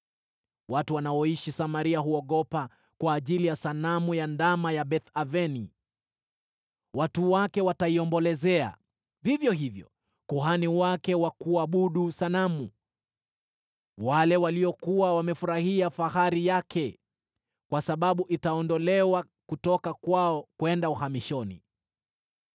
Watu wanaoishi Samaria huogopa kwa ajili ya sanamu ya ndama ya Beth-Aveni. Watu wake wataiombolezea, vivyo hivyo kuhani wake wa kuabudu sanamu, wale waliokuwa wamefurahia fahari yake, kwa sababu itaondolewa kutoka kwao kwenda uhamishoni.